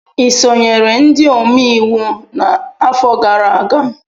Ị sonyere ndị omeiwu n'afọ gara aga?